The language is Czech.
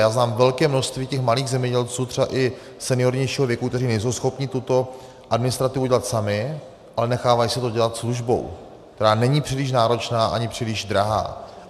Já znám velké množství těch malých zemědělců třeba i seniornějšího věku, kteří nejsou schopni tuto administrativu dělat sami, ale nechávají si to dělat službou, která není příliš náročná ani příliš drahá.